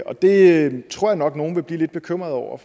det tror jeg nok at nogle vil blive lidt bekymrede over